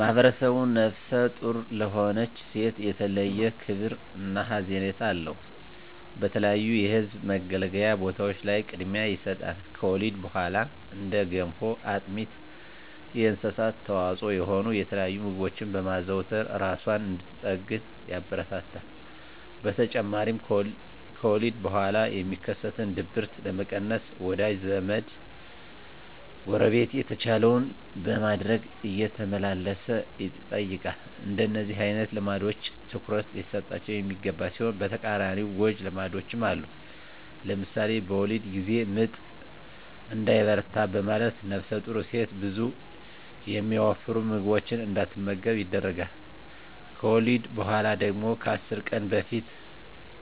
ማህብረሰቡ ነፍሰ ጡር ለሆነች ሴት የተለየ ክብር እና ሀዘኔታ አለው። በተለያዩ የህዝብ መገልገያ ቦታዎች ላይ ቅድሚያ ይሰጣል። ከወሊድ በኋላም እንደ ገንፎ፣ አጥሚት እና የእንስሳት ተዋፅዖ የሆኑ የተለያዩ ምግቦችን በማዘውተር እራሷን እንድትጠግን ያበረታታል። በተጨማሪም ከወሊድ በኋላ የሚከሰትን ድብርት ለመቀነስ ወዳጅ ዘመ፣ ጎረቤት የተቻለውን በማድረግ እየተመላለሰ ይጠይቃል። እንደነዚህ አይነት ልምዶች ትኩረት ሊሰጣቸው የሚገባ ሲሆን በተቃራኒው ጎጅ ልማዶችም አሉ። ለምሳሌ በወሊድ ጊዜ ምጥ እንዳይበረታ በማለት ነፍሰጡር ሴት ብዙ የሚያወፍሩ ምግቦችን እንዳትመገብ ይደረጋል። ከወሊድ በኋላ ደግሞ ከ10 ቀን በፊት